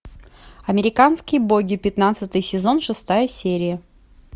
американские боги пятнадцатый сезон шестая серия